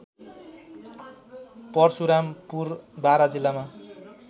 परशुरामपुर बारा जिल्लामा